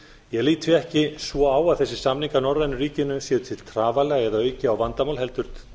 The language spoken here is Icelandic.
ég lít því ekki svo á að þessir samningar norrænu ríkjanna séu til trafala eða auki á vandamál heldur